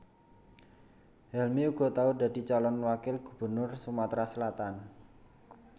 Helmy uga tau dadi calon wakil gubernur Sumatra Selatan